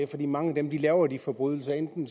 fordi mange af dem der laver de forbrydelser enten